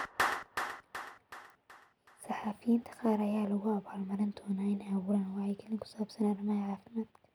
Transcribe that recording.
Saxafiyiinta qaar ayaa lagu abaal marin doonaa in ay abuuraan wacyigelin ku saabsan arrimaha caafimaadka.